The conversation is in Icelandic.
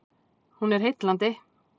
Hún er heillandi